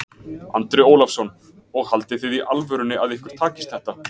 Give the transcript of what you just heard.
Andri Ólafsson: Og haldið þið í alvörunni að ykkur takist þetta?